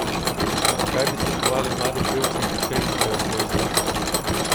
Kaj bi svetovali mladim pevcem, ki še iščejo svoj izraz?